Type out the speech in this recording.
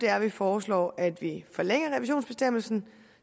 er at vi foreslår at vi forlænger revisionsbestemmelsen